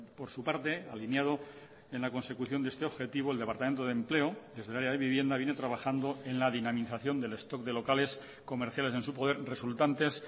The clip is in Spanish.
por su parte alineado en la consecución de este objetivo el departamento de empleo desde el área de vivienda viene trabajando en la dinamización del stock de locales comerciales en su poder resultantes